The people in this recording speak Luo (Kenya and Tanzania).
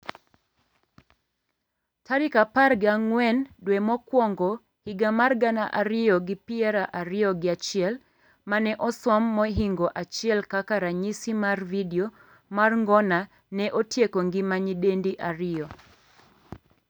tarik apar gi ang'wen dwe mokwongo higa mar gana ariyo gi piro ariyo gi achiel, mane osom mohingo achiel kaka ranyisi mar video mar ngona ne otieko ngima nyidendi ariyo.